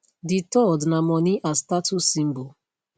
di third na money as status symbol